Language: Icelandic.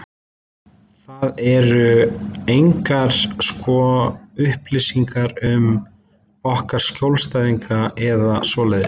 En það eru engar sko upplýsingar um okkar skjólstæðinga eða svoleiðis.